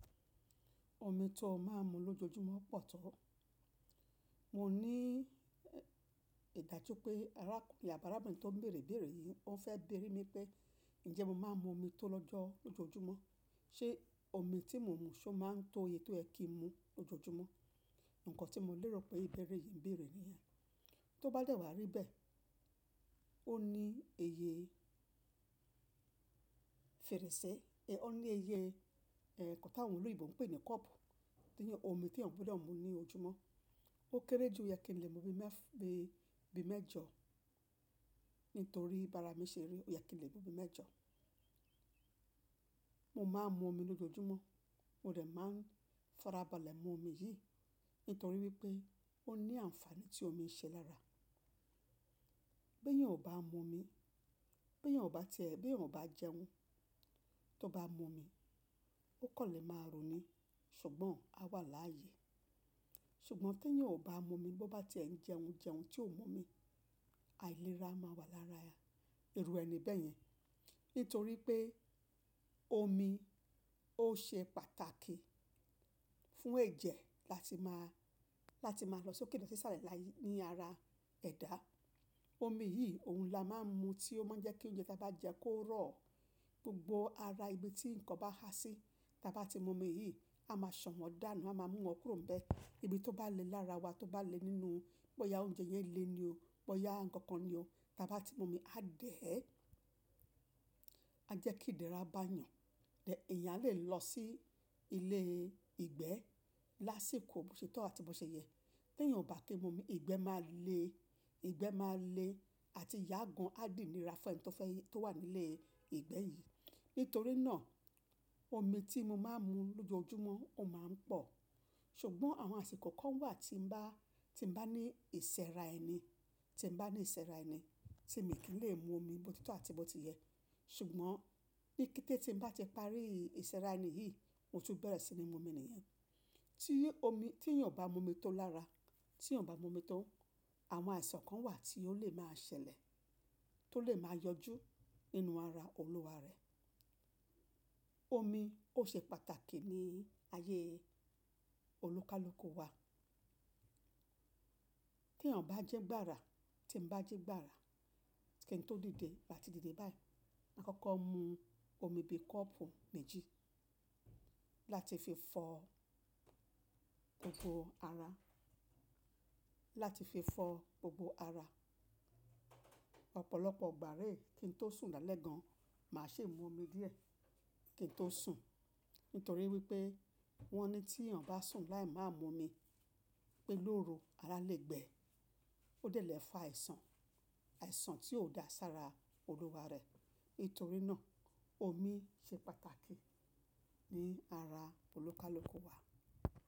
Omi tó máa ń mu lójoojúmọ́ pọ̀ tó. Mo ní ìdájú pé arákùnrin àbi árábìnrin tó ń bèèrè ìbèèrè yìí ó fẹ́ bèrí mi pé ǹjẹ́ mo máa ń mu omi tó lọ́jọ́ lójoojúmọ́? Ṣé omi tí mo ń mu ṣó ma ń tó oye tó ẹ ki n mu lójoojúmọ́? Ǹkan tí mo lérò pé ìbẹ́rẹ́ yìí ń bèèrè ni yẹn. Tó bá dẹ̀ wá rí bẹ́ẹ̀, ó ní eye fèrèsé, ẹ ó ní iye ẹ̀ nkan tà wọn oloyinbò ń pè ní kọ́ọ̀pù, tí eyan omi tí èèyàn gbọdọ mu ní ojúmọ́. Ó kéré ju òyẹ kí n lè mu bíi mẹ́f- bíi mẹ́jọ, nítorí bara mi ṣe rí òyẹ kí n lè mu bíi mẹ́jọ. Mo máa ń mu omi lójoojúmọ́, mo dẹ̀ máa ń farabalẹ̀ mu omi yìí, nítorí wípé ó ní àǹfààní tí omi ń ṣe lara. Bí ẹ̀yàn ò bá mu omi, bí ẹ̀yàn ò bá ti ẹ, bí ẹ̀yàn ò bá jẹun, tó bá mu omi, ó kàn lè máa ru ni, ṣùgbọ́n a wà láàyè. Ṣùgbọ́n tí ẹ̀yàn ò bá mu omi, bó bá ti ẹ̀ ń jẹun, jẹun tí ò mú omi, àìlera máa wà lára irù ẹni bẹ́ẹ̀ yẹn. Nítorí pé omi ó ṣe pàtàkì fún ẹ̀jẹ̀ láti máa, láti máa lọ sókè lọ sí sálẹ̀ láyé ní ara ẹ̀dá. Omi yìí oun la máa ń mu tí ó máa ń jẹ́ kí oúnjẹ tí a bá jẹ kó rọ̀ gbogbo ara ibi tí ǹkan bá há sí. Tí a bá ti mu omi yìí, a máa ṣàn wọn dànù, a máa mú wọn kúrò n bẹ́ẹ̀. Ibi tó bá le lára wa, tó bá le nínú, bóyá oúnjẹ yẹn le ni o, bóyá ǹkan kan ni o, tí a bá ti mu omi, á dẹ̀ ẹ́, á jẹ́ kí ìdẹ̀ra bá yàn. Ẹ̀èyàn a lè lọ sí ilé ìgbẹ́ lásìkò bó ṣe tọ́ àti bó ṣe yẹ. Tí ẹ̀yàn ò bá ti mu omi, ìgbẹ́ máa le, ìgbẹ́ máa le àti yà gan á dì iníra fún ẹni tó fẹ́, tó wà ní ilé ìgbẹ́ yìí. Nítorí náà omi tí mo máa ń mu lójoojúmọ́ ó máa ń pọ̀. Ṣùgbọ́n àwọn àsìkò kan wà tí ń bá, tí ń bá ní ìsẹ́ra ẹni, tí ń bá ní ìsẹ́ra ẹni tí mi kì í lè mu omi bó ti tọ́ àti bó ti yẹ. Ṣùgbọ́n ní kété tí ń bá ti parí ìsẹ́ra ẹni yìí, mo tún bẹ̀rẹ̀ sí ní mu omi nìyẹn. Tí omi, tí èyàn ò bá mu omi tó lára, tí èyán bá mu omi tó, àwọn àìsàn kan wà tí ó lè máa ṣẹlẹ̀, tó lè máa yọjú nínú ara olúwa rẹ̀. Omi ó ṣe pàtàkì ní ayé olúkalúkù wa. Tí èyàn bá jẹ́ gbára, tí ń bá ji gbára, kí n tó dìde ati dìde báyìí, má kọ́kọ́ mu omi bí kọ́ọ̀pù méjì láti fi fọ gbogbo ara, láti fi fọ gbogbo ara. Ọ̀pọ̀lọpọ̀ ìgbà réè kí n tó sùn lálẹ́ gan, màá ṣi mú omi díẹ̀ kí n tó sùn. Nítorí wípé wọ́n ní tí èyàn bá sùn láì maa mu omi pé lóru, ara lè gbẹ, ó dẹ̀ lè fa àìsàn, àìsàn tí ò dáa sára olúwa rẹ̀. Nítorí náà omi ṣe pàtàkì ní ara olúkalúkù wa.